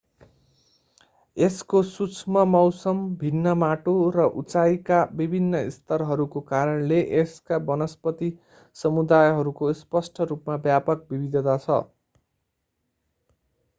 यसको सूक्ष्ममौसम भिन्न माटो र उचाइका विभिन्न स्तरहरूको कारणले यसका वनस्पती समुदायहरूको स्पष्ट रूपमा व्यापक विविधता छ